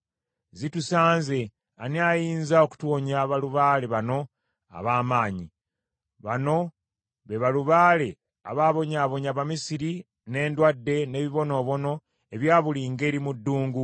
Zitusanze! Ani ayinza okutuwonya balubaale bano ab’amaanyi? Bano be balubaale abaabonyaabonya Abamisiri n’endwadde n’ebibonoobono ebya buli ngeri mu ddungu.